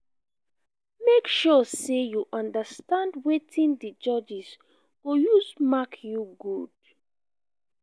make sure say you umderstand wetin di judges go use mark you good